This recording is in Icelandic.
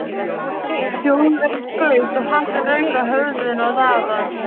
Þjóðverjinn skaut og hatturinn rauk af höfðinu á Daða.